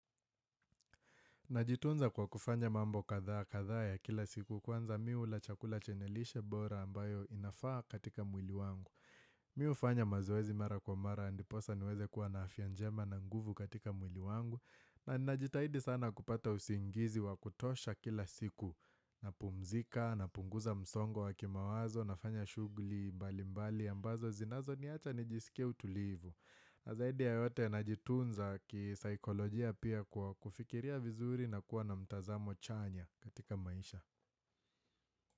Najitunza kwa kufanya mambo kadhaa kadhaa ya kila siku kwanza mi hula chakula chenye lishe bora ambayo inafaa katika mwili wangu. Mi hufanya mazoezi mara kwa mara ndiposa niweze kuwa na afya njema na nguvu katika mwili wangu. Na ninajitahidi sana kupata usingizi wa kutosha kila siku napumzika napunguza msongo wa kimawazo nafanya shughuli mbalimbali ambazo zinazoniacha nijisikie utulivu. Na zaidi ya yote najitunza kisaikolojia pia kufikiria vizuri na kuwa na mtazamo chanya katika maisha.